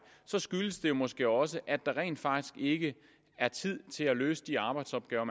så skyldes det måske også at der rent faktisk ikke er tid til at løse de arbejdsopgaver